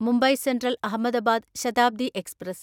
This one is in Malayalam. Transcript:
Mumbai Central Ahmedabad Shatabdi express